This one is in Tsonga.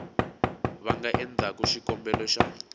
va nga endlaku xikombelo xa